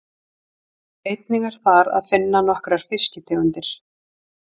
Einnig er þar að finna nokkrar fiskitegundir.